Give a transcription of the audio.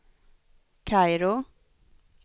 Kairo